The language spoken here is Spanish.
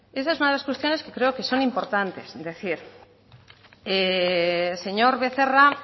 esta es una de las cuestiones que creo que son importantes decir señor becerra